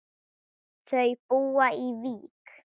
Þau búa í Vík.